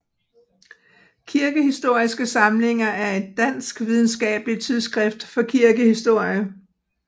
Kirkehistoriske samlinger er et dansk videnskabeligt tidsskrift for kirkehistorie